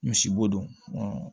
Misibo don